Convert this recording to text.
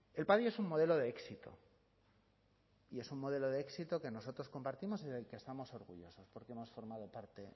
el padi es un modelo de éxito y es un modelo de éxito que nosotros compartimos y del que estamos orgullosos porque hemos formado parte